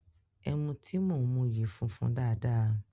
Ẹmu tí mò ń mu yìí funfun dáadáa.